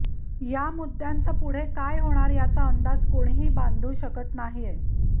या मुद्द्याचं पुढे काय होणार याचा अंदाज कोणीही बांधू शकत नाहीये